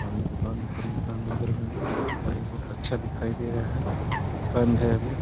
सामने दुकान है ऊपर मकान वगैरा अच्छा दिखाई दे रहा है। बंद है अभी।